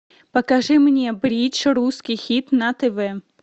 покажи мне бридж русский хит на тв